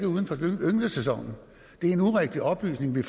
uden for ynglesæsonen det er en urigtig oplysning vi